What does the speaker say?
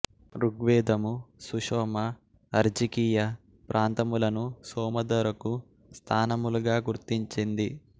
ఋగ్వేదము సుషోమ అర్జికీయ ప్రాంతములను సోమ దొరకు స్థానములుగా గుర్తించింది